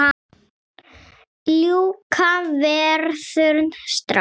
Ljúka verkinu strax!